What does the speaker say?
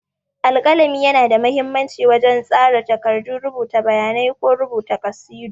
Alƙalami yana da mahimmanci wajen tsara takardu, rubuta bayanai ko rubuta ƙasidu.